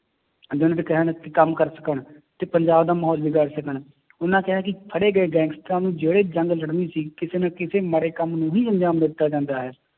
ਕੰਮ ਕਰ ਸਕਣ ਤੇ ਪੰਜਾਬ ਦਾ ਮਾਹੌਲ ਵਿਗਾੜ ਸਕਣ ਉਹਨਾਂ ਕਿਹਾ ਹੈ ਕਿ ਫੜੇ ਗਏ ਗੈਂਗਸਟਰਾਂ ਨੂੰ ਜਿਹੜੇ ਜੰਗ ਲੜਨੀ ਸੀ ਕਿਸੇ ਨਾ ਕਿਸੇ ਮਾੜੇ ਕੰਮ ਨੂੰ ਹੀ ਅਨਜਾਮ ਦਿੱਤਾ ਜਾਂਦਾ ਹੈ,